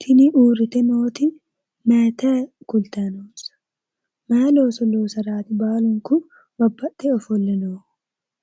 tini uurrite nooti maayitayi kultayi no? mayi looso loosara baalunku babbaxxe ofolle no?